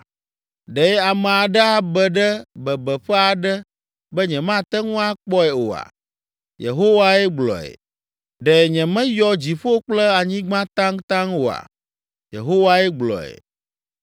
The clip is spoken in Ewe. Ɖe ame aɖe abe ɖe bebeƒe aɖe be nyemate ŋu akpɔe oa?” Yehowae gblɔe. “Ɖe nyemeyɔ dziƒo kple anyigba taŋtaŋ oa?” Yehowae gblɔe.